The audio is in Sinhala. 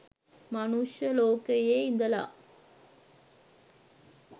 මනුෂ්‍ය ලෝකයෙ ඉඳල